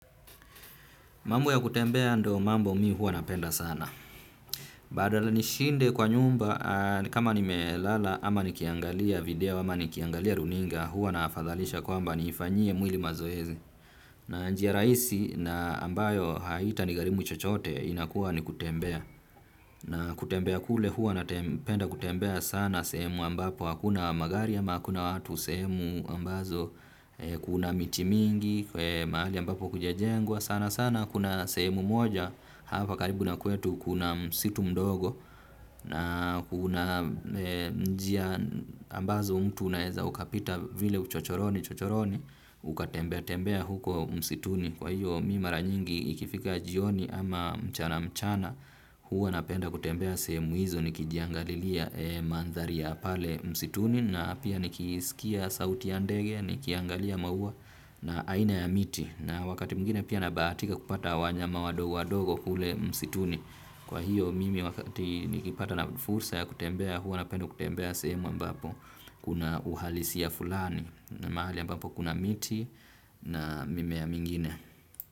Mambo ya kutembea ndo mambo mi huwa napenda sana. Badala nishinde kwa nyumba kama nimelala ama nikiangalia video ama nikiangalia runinga huwa naafadhalisha kwamba niifanyie mwili mazoezi. Na njia rahisi na ambayo haita nigharimu chochote inakuwa ni kutembea. Na kutembea kule huwa napenda kutembea sana sehemu ambapo hakuna magari ama hakuna watu sehremu ambazo kuna miti mingi mahali ambapo kujajengwa sana sana. Kuna sehemu moja hapa karibu na kwetu kuna msitu mdogo na kuna njia ambazo mtu unaeza ukapita vile uchochoroni chochoroni. Ukatembea tembea huko msituni kwa hiyo mi mara nyingi ikifika jioni ama mchana mchana. Huwa napenda kutembea sehemu hizo nikijiangalilia mandhari ya pale msituni na pia nikisikia sauti ya ndege nikiangalia maua na aina ya miti na wakati mwingine pia nabahatika kupata wanyama wadogo wadogo kule msituni kwa hiyo mimi wakati nikipata na fursa ya kutembea huwa napenda kutembea sehemu ambapo kuna uhalisia fulani na mahali ambapo kuna miti na mimea mingine.